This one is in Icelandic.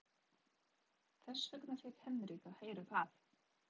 Þess vegna fékk Henrik að heyra það.